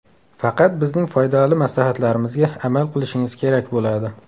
Faqat bizning foydali maslahatlarimizga amal qilishingiz kerak bo‘ladi.